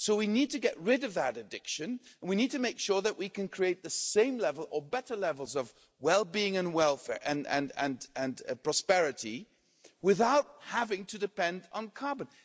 So we need to get rid of that addiction and we need to make sure that we can create the same level or better levels of well-being, welfare and prosperity without having to depend on carbon.